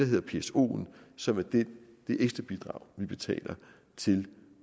hedder psoen som er det ekstra bidrag vi betaler til